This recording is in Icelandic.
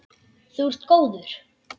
Þú ert góður!